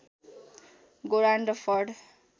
Gerald फर्ड